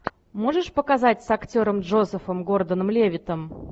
можешь показать с актером джозефом гордоном левиттом